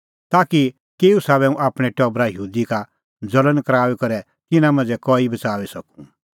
ताकि केऊ साबै हुंह आपणैं टबरा यहूदी का ज़ल़ण कराऊई करै तिन्नां मांझ़ै कई बच़ाऊई सकूं